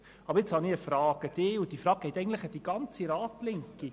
Jetzt habe ich eine Frage an Sie und eigentlich an die ganze Ratslinke.